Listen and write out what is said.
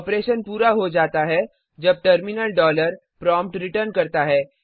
operation पूरा हो गया है जब टर्मिनल डॉलर प्रॉम्प्ट रिटर्न करता है